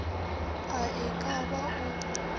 a e ka ba o